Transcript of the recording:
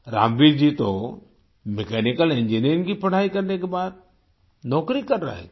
रामवीर जी तो mechanical engineering की पढ़ाई करने के बाद नौकरी कर रहे थे